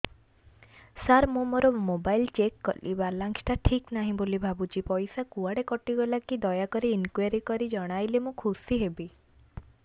ସାର ମୁଁ ମୋର mobile check କଲି ବାଲାନ୍ସ ଟା ଠିକ ନାହିଁ ବୋଲି ଭାବୁଛି ପଇସା କୁଆଡେ କଟି ଗଲା କି ଦୟାକରି ଇନକ୍ୱାରି କରି ଜଣାଇଲେ ମୁଁ ଖୁସି ହେବି